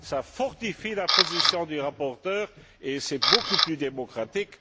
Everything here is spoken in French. Cela fortifie la position du rapporteur et c'est beaucoup plus démocratique.